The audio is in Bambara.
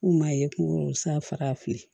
K'u m'a ye k'u san faga fili